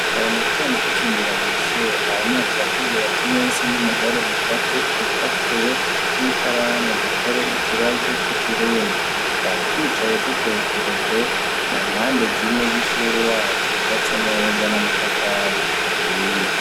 Kare mu gitondo tucinjira mw'ishure, mwarimu yaciye atubwira ati: "mwese nimuhore mufate urupapuro n'ikaramu dukore ikibazo c'ikirundi."Twari twicaye dutekereje, mu mpande zine z'ishure yacu yubatse neza n'amatafari ahiye.